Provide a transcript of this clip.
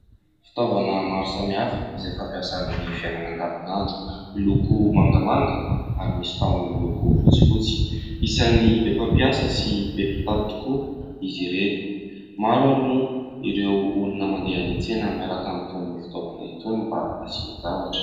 Fitaovana maro samihafa izay fampiasa amin'ny fiainana andavanandro, miloko mangamanga ary misy tahony miloko fotsifotsy. Isan'ny be mpampiasa sy be mpitady tokoa izy ireny. Maro ary moa ireo olona mandeha any an-tsena miaraka amin'itony fitaovana itony mba hasiana zavatra.